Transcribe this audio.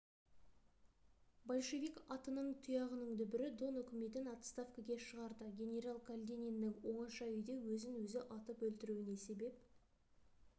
большевик атының тұяғының дүбірі дон үкіметін отставкіге шығарды генерал калидиннің оңаша үйде өзін-өзі атып өлтіруіне себеп